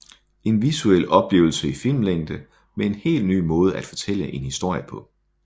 En visuel oplevelse i filmlængde med en helt ny måde at fortælle en historie på